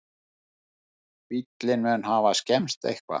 Bíllinn mun hafa skemmst eitthvað